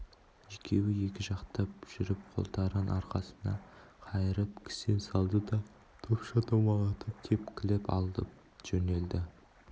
екеуі екі жақтап жүріп қолдарын арқасына қайырып кісен салды да допша домалатып тепкілеп алып жөнелді